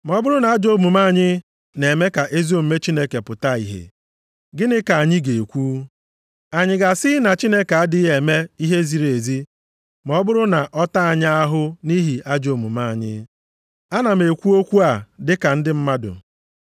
Ma ọ bụrụ na ajọ omume anyị na-eme ka ezi omume Chineke pụta ìhè, gịnị ka anyị ga-ekwu? Anyị ga-asị na Chineke adịghị eme ihe ziri ezi ma ọ bụrụ na ọ taa anyị ahụhụ nʼihi ajọ omume anyị? (Ana m ekwu okwu a dị ka ndị mmadụ.)